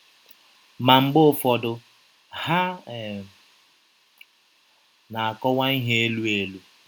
Ma mgbe ụfọdụ, ha um na - akọwa ihe elụ elụ.